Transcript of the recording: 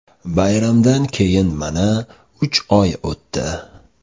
Bayramdan keyin mana uch oy o‘tdi.